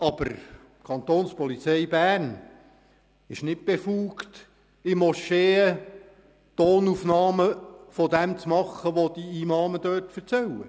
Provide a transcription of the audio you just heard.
Aber die Kantonspolizei Bern ist nicht befugt, in Moscheen Tonaufnahmen von dem zu machen, was die Imame dort erzählen.